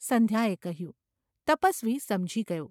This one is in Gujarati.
’ સંધ્યાએ કહ્યું. તપસ્વી સમજી ગયો.